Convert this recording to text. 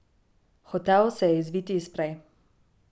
Hotel se je izviti iz prej.